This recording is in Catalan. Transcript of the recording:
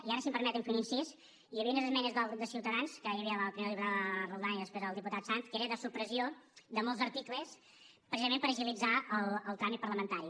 i ara si em permeten fer un incís hi havia unes esmenes del grup de ciutadans que hi havia primer la diputada roldán i després el diputat sanz que era de supressió de molts articles precisament per agilitzar el tràmit parlamentari